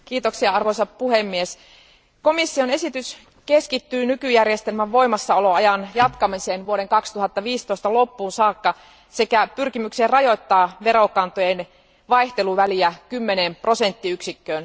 Arvoisa puhemies, komission esitys keskittyy nykyjärjestelmän voimassaoloajan jatkamiseen vuoden 2015 loppuun saakka sekä pyrkimykseen rajoittaa verokantojen vaihteluväliä kymmeneen prosenttiyksikköön.